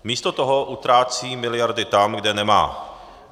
Místo toho utrácí miliardy tam, kde nemá.